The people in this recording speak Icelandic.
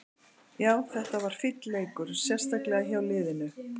Já, þetta var fínn leikur, sérstaklega hjá liðinu.